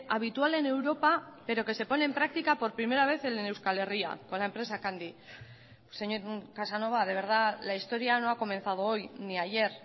habitual en europa pero que se pone en práctica por primera vez en euskal herria con la empresa candy señor casanova de verdad la historia no ha comenzado hoy ni ayer